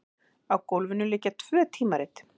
Á gólfinu liggja tvö tímarit.